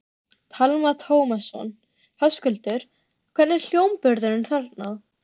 Telma Tómasson: Höskuldur, hvernig er hljómburðurinn þarna?